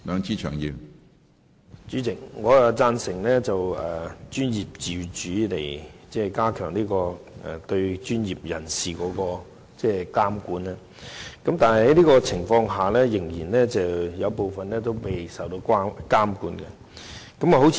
主席，我贊成透過專業自主以加強對專業人士的監管，但觀乎現時的情況，卻仍有部分專業未受到監管。